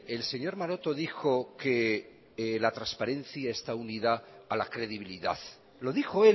el señor maroto dijo que la transparencia está unida a la credibilidad lo dijo